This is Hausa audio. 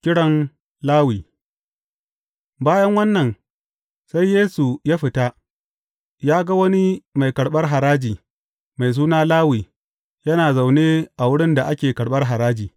Kiran Lawi Bayan wannan, sai Yesu ya fita, ya ga wani mai karɓar haraji, mai suna Lawi, yana zaune a wurin da ake karɓar haraji.